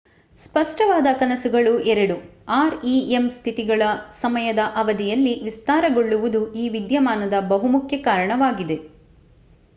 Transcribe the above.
ಸ್ಪಷ್ಟವಾದ ಕನಸುಗಳು ಎರಡು rem ಸ್ಥಿತಿಗಳ ಸಮಯದ ಅವಧಿಯಲ್ಲಿ ವಿಸ್ತಾರಗೊಳ್ಳುವುದು ಈ ವಿದ್ಯಮಾನದ ಬಹುಮುಖ್ಯ ಕಾರಣವಾಗಿದೆ